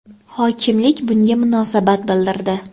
Hokimlik bunga munosabat bildirdi.